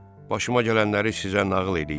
Başıma gələnləri sizə nağıl eləyim.